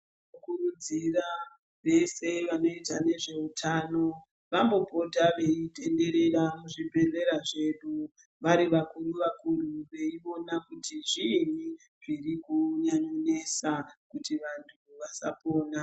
Tinokurudzira vese vanoita nezveutano vambopota veitenderera muzvibhedhlera zvedu vari vakuru vakuru veiona kuti zviinyi zvirikunyanyonesa kuti vanhu vasapona.